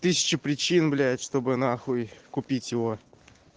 тысяча причин блять чтобы на хуй купить его